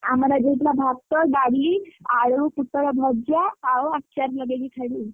ଆମର ଆଜି ହେଇଥିଲା ଭାତ ଡାଲି ଆଳୁ ପୋଟଳ ଭଜା ଆଉ ଆଚାର ଲଗେଇକି ଖାଇଲି।